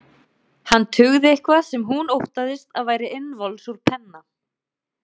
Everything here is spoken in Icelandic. Hann tuggði eitthvað sem hún óttaðist að væri innvols úr penna.